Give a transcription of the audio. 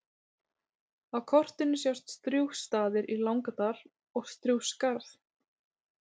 Á kortinu sjást Strjúgsstaðir í Langadal og Strjúgsskarð.